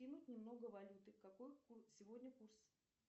немного валюты какой сегодня курс